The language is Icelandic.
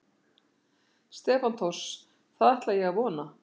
Stefán Thors: Það ætla ég að vona?